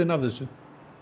af þessu